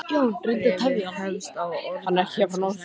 Bréfið hefst á orðunum Elsku Svenni!